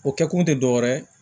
O kɛkun te dɔwɛrɛ ye